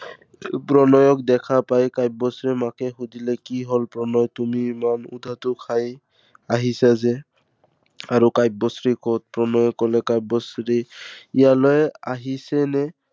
প্ৰণয়ক দেখা পাই কাব্যশ্ৰীৰ মাকে সুধিলে, কি হল প্ৰণয় তুমি ইমান উধাতু খাই আহিছা যে। আৰু কাব্যশ্ৰী কত? প্ৰণয়ে কলে কাব্যশ্ৰী ইয়ালৈ আহিছেনে?